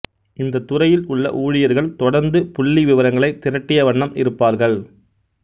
இந்தத் துறையில் உள்ள ஊழியர்கள் தொடர்ந்து புள்ளி விவரங்களைத் திரட்டிய வண்ணம் இருப்பார்கள்